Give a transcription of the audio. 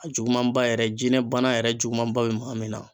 A jugumanba yɛrɛ jinɛ bana yɛrɛ jugumanba be maa min na